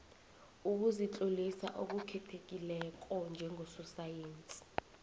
ukuzitlolisa okukhethekileko njengososayensi